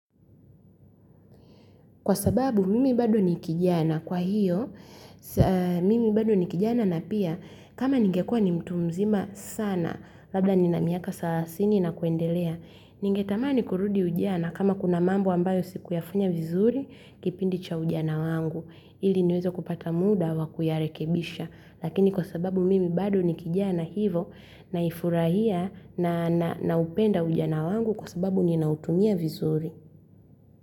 Kwa sababu mimi bado ni kijana. Kwa hiyo, mimi bado ni kijana na pia, kama ningekua ni mtu mzima sana, labda ni na miaka salasini na kuendelea, ningetamani kurudi ujana kama kuna mambo ambayo sikuyafanya vizuri kipindi cha ujana wangu. Ili niweze kupata muda wa kuyarekebisha. Lakini kwa sababu mimi bado ni kijana hivo naifurahia na naupenda ujana wangu kwa sababu ninautumia vizuri.